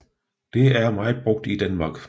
Det er meget brugt i Danmark